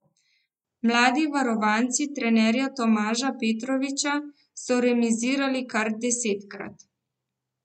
Mladi varovanci trenerja Tomaža Petroviča so remizirali kar desetkrat.